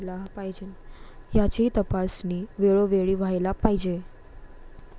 याचीही तपासणी वेळोवेळी व्हायला पाहिजे.